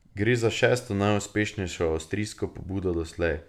Gre za šesto najuspešnejšo avstrijsko pobudo doslej.